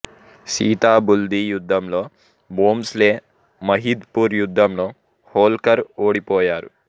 సితాబుల్దీ యుద్ధంలో భోంస్లే మహిద్ పూర్ యుద్ధంలో హోల్కర్ ఓడిపోయారు